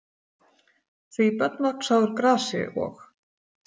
Því börn vaxa úr grasi og.